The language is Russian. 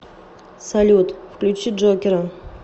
салют включи джокера